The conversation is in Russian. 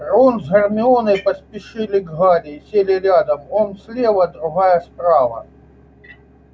рон с гермионой поспешили к гарри и сели рядом он слева другая справа